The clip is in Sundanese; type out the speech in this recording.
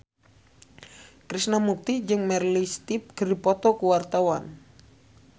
Krishna Mukti jeung Meryl Streep keur dipoto ku wartawan